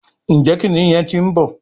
Njé kìnìún yén tí ń bó